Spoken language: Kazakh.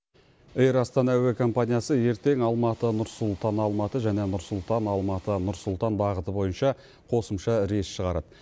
эйр астана әуе компаниясы ертең алматы нұр сұлтан алматы және нұр сұлтан алматы нұр сұлтан бағыты бойынша қосымша рейс шығарады